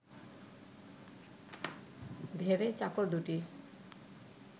ধেড়ে চাকর দুটি